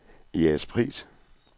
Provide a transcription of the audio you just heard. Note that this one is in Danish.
Jægerspris